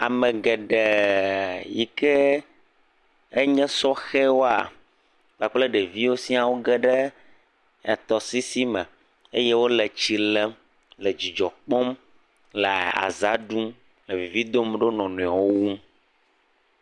Ame geɖe yike enye sɔhewoa kpakple ɖeviwo siaa, woge ɖe etɔsisi me eye wole etsi lem le dzidzɔ kpɔm, le aza ɖum, le vivi dom ɖe wo nɔ nɔewo ŋu.